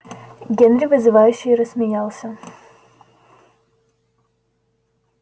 генри вызывающе рассмеялся